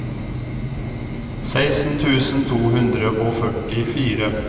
seksten tusen to hundre og førtifire